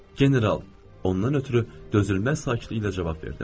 General, ondan ötrü dözülməz sakitliklə cavab verdim.